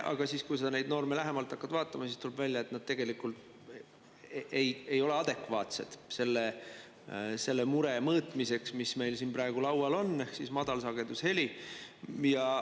Aga kui sa hakkad neid norme lähemalt vaatama, siis tuleb välja, et need tegelikult ei ole adekvaatsed selle mure mõõtmiseks, mis meil praegu laual on: madalsagedusheli.